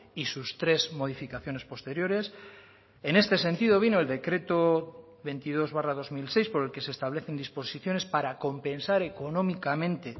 y sus tres modificaciones posteriores en este sentido vino el decreto veintidós barra dos mil seis por el que se establecen disposiciones para compensar económicamente